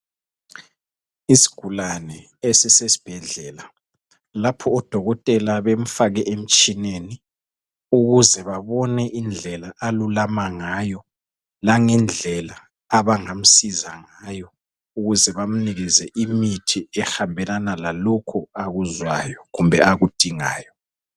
Isigulane esisesibhedlela lapho odokotela bemfake emtshineni ukuze babone indlela alulama ngayo langendlela abangamsiza ngayo ukuze bamnikeze imithi ehambelana lalokho akuzwayo kumbe akudingayo.